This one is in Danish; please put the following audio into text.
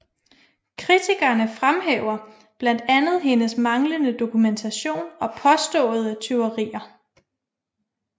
Kritikerne fremhæver blandt andet hendes manglende dokumentation og påståede tyverier